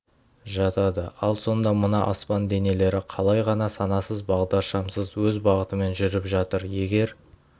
жатады ал сонда мына аспан денелері қалай ғана санасыз бағдаршамсыз өз бағытымен жүріп жатыр егер